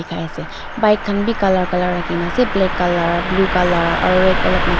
ase bike khan beh colour colour rakhe kena ase black colour blue colour aro red ulop mix--